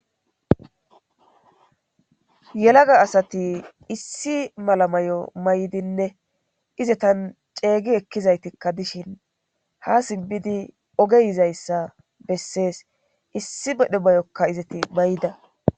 yelaga asati issi mala mayo may7dinne izetan ceeygi ekkizaytikka dishin ha sibbidi ogeyizayssa bessees issi bedhe bayokka izati bayida